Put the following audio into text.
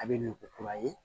A bɛ nin ko kura ye